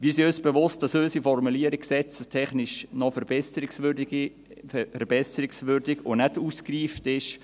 Wir sind uns bewusst, dass unsere Formulierung gesetzestechnisch noch verbesserungswürdig und nicht ausgereift ist.